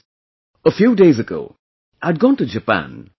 Friends, a few days ago I had gone to Japan